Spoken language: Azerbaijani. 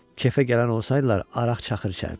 Kefə gələn olsaydılar, araq-çaxır içərdilər.